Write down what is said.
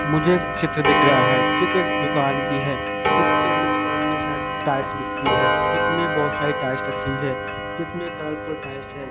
मुझे एक चित्र दिख रहा है चित्र एक दुकान की है चित्र के अंदर दुकान में शायद टाइल्स बिकती है चित्र में बहोत सारी टाइल्स रखी हुई है चित्र कलरफुल टाइल्स है।